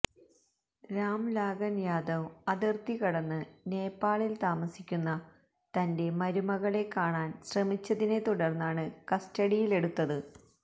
രാം ലാഗന് യാദവ് അതിര്ത്തി കടന്ന് നേപ്പാളില് താമസിക്കുന്ന തന്റെ മരുമകളെ കാണാന് ശ്രമിച്ചതിനെ തുടര്ന്നാണ് കസ്റ്റഡിയിലെടുത്തത്